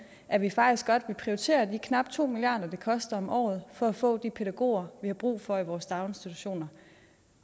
at vi faktisk godt vil prioritere de knap to milliard kr det koster om året for at få de pædagoger vi har brug for i vores daginstitutioner